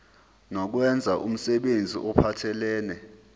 nokwenza umsebenzi ophathelene